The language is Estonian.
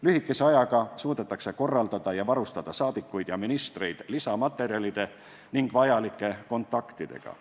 Lühikese ajaga suudetakse korraldada ja varustada saadikuid ja ministreid lisamaterjalide ning vajalike kontaktidega.